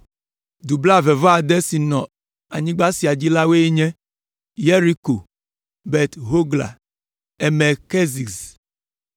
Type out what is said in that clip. Du blaeve-vɔ-ade siwo nɔ anyigba sia dzi la woe nye: Yeriko, Bet Hogla, Emek Keziz,